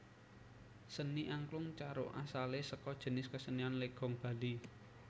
Seni Angklung Caruk asale saka jinis kasenian Legong Bali